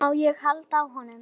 Má ég halda á honum?